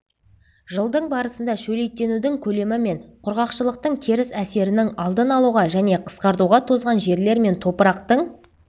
жылдың барысында шөлейттенудің көлемі мен құрғақшылықтың теріс әсерінің алдын алуға және қысқартуға тозған жерлер мен топырақтың